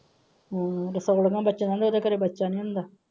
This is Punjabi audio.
ਉਹਦੇ ਘਰੇ ਬੱਚਾ ਨਹੀਂ ਹੁੰਦਾ।